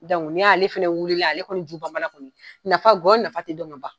n'i y'ale fɛnɛ wulila, ale kɔni nafa kɔnyɔ nafa ti dɔn ka ban.